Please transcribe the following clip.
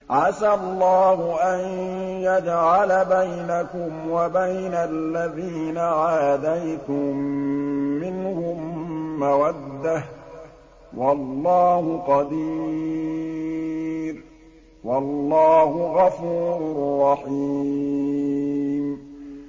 ۞ عَسَى اللَّهُ أَن يَجْعَلَ بَيْنَكُمْ وَبَيْنَ الَّذِينَ عَادَيْتُم مِّنْهُم مَّوَدَّةً ۚ وَاللَّهُ قَدِيرٌ ۚ وَاللَّهُ غَفُورٌ رَّحِيمٌ